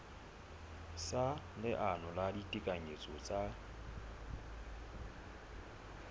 sa leano la ditekanyetso tsa